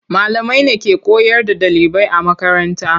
Malamai ne ke koyar da ɗalibai a makaranta.